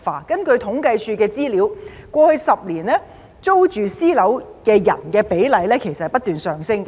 根據政府統計處的資料，過去10年，租住私人物業的人的比例不斷上升。